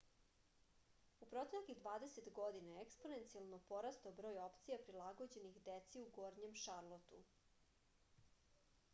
u proteklih 20 godina je eksponencijalno porastao broj opcija prilagođenih deci u gornjem šarlotu